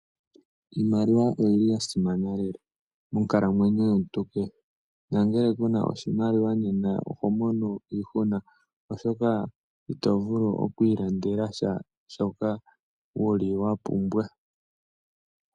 Iimaliwa oyili ya simana lela monkalamwenyo yomuntu keshe nongele kuna oshimaliwa oho mono iihuna oshoka itovulu okwilandela sha shoka wuli wapumbwa.